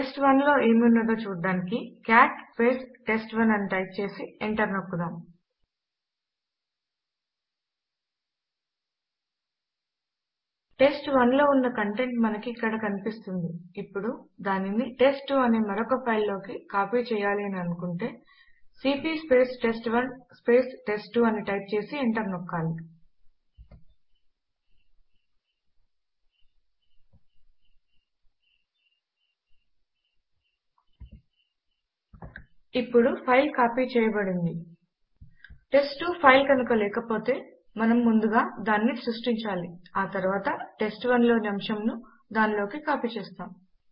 test one లో ఏమి ఉన్నదో చూడడానికి కాట్ టెస్ట్1 అని టైప్ చేసి ఎంటర్ నొక్కుదాం టెస్ట్1 లో ఉన్న కంటెంట్ మనకి ఇక్కడ కనిపిస్తుంది ఇప్పుడు దానిని టెస్ట్2 అనే మరొక ఫైల్ లోకి కాపీ చేయాలి అని అనుకుంటే సీపీ టెస్ట్1 టెస్ట్2 అని టైప్ చేసి ఎంటర్ నొక్కాలి ఇప్పుడు ఫైల్ కాపీ చేయబడింది టెస్ట్2 ఫైలు కనుక లేకపోతే మనము ముందుగా దానిని సృష్టించాలి ఆ తరువాత టెస్ట్1 లోని అంశమును దాని లోకి కాపీ చేస్తాము